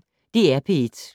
DR P1